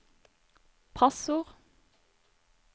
passord